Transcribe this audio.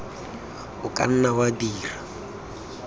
o ka nna wa dira